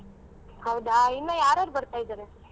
ಹೌದಾ ಇನ್ನಾ ಯಾರ್ಯಾರ ಬರ್ತಿದಾರೆ?